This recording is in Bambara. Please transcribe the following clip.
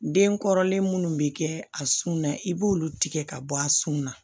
Den kɔrɔlen munnu bɛ kɛ a sun na i b'olu tigɛ ka bɔ a sun na